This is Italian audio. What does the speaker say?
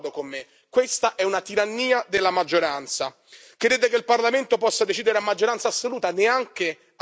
Crede che il Parlamento possa decidere a maggioranza assoluta neanche a maggioranza qualificata sulla sopravvivenza dei gruppi.